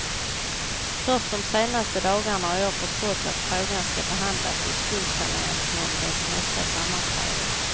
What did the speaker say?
Först de senaste dagarna har jag förstått att frågan skall behandlas i skuldsaneringsnämndens nästa sammanträde.